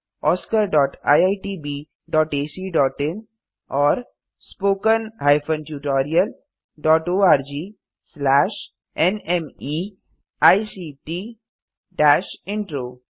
oscariitbacइन और spoken tutorialओआरजी nmeict इंट्रो